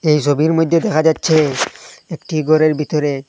এই সবির মইধ্যে দেখা যাচ্ছে একটি গরের ভিতরে--